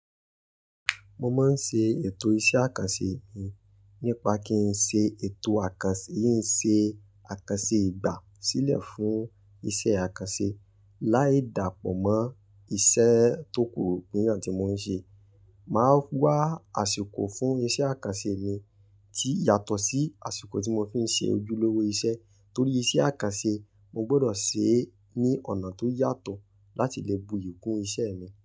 Mo máa ń se ètò iṣẹ́ àkànṣe mi nípa kí n ṣe ètò àkànṣe, kin ń ṣe àkànṣe ìgbà sílẹ̀ fún iṣẹ́ àkànṣe. Láì dàpọ̀ mọ́ iṣẹ́ tó kúrò níyàn tí mò ń ṣe. Mà á wá àsìkò fún iṣẹ́ àkànṣe mi tí yàtọ̀ sí àsìkò tí mo fi ń ṣe ojúlówó iṣẹ́. Nítorí iṣẹ́ àkànṣe mo gbọdọ̀ ṣe é ní ọ̀nà tó yàtọ̀ láti lè buyì kún iṣẹ́ mi.